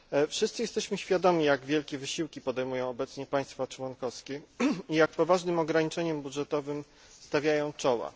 Wszyscy jesteśmy świadomi, jak wielkie wysiłki podejmują obecnie państwa członkowskie i jak poważnym ograniczeniom budżetowym stawiają czoła.